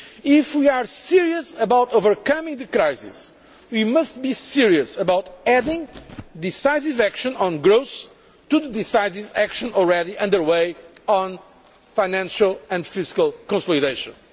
If we are serious about overcoming the crisis, we must be serious about adding decisive action on growth to the decisive action already under way on financial and fiscal consolidation.